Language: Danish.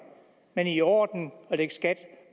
men i orden at lægge skat